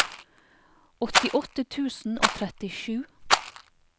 åttiåtte tusen og trettisju